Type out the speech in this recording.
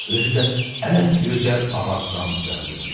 Özü də ən gözəl ağacdan düzəldilmişdi.